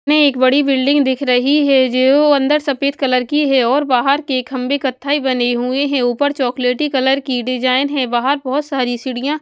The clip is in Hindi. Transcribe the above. में एक बड़ी बिल्डिंग दिख रही है जो अंदर सफेद कलर की है और बाहर के खंबे कत्थाई बने हुए हैं ऊपर चॉकलेटी कलर की डिजाइन है बाहर बहुत सारी सीढ़ियाँ --